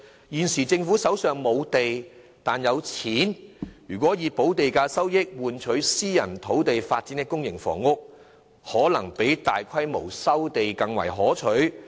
現時政府手上欠缺土地，但不缺金錢，若能以補地價收益換取在私人土地發展公營房屋，可能比大規模收地更為可取。